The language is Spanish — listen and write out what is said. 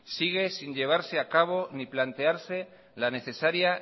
sigue sin llevarse a cabo ni plantearse la necesaria